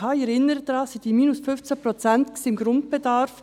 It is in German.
Ich erinnere daran, es ging um die minus 15 Prozent beim Grundbedarf.